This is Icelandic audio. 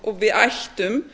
og við ættum